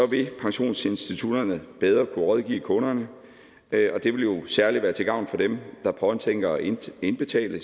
vil pensionsinstitutterne bedre kunne rådgive kunderne og det vil særlig være til gavn for dem der påtænker at indbetale